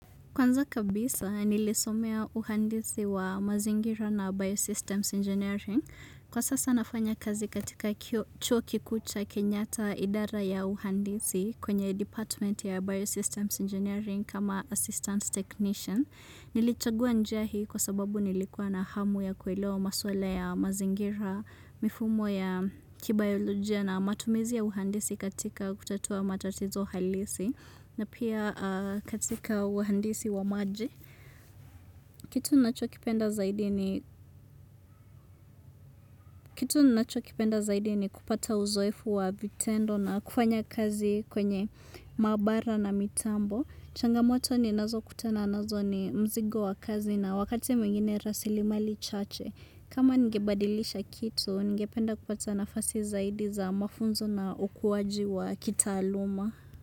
Kwanza kabisa, nilisomea uhandisi wa mazingira na Biosystems Engineering. Kwa sasa nafanya kazi katika chuo kikuu cha kenyatta idara ya uhandisi kwenye Department ya Biosystems Engineering kama Assistant Technician. Nilichagua njia hii kwa sababu nilikuwa na hamu ya kuelewa maswala ya mazingira, mifumo ya kibayolojia na matumizi ya uhandisi katika kutatua matatizo halisi. Na pia katika uhandisi wa maji. Kitu ninacho kipenda zaidi ni kupata uzoefu wa vitendo na kufanya kazi kwenye mabara na mitambo. Changamoto ninazo kutana nazo ni mzigo wa kazi na wakati mwingine rasili mali chache. Kama ningebadilisha kitu, ningependa kupata nafasi zaidi za mafunzo na ukuwaji wa kita aluma.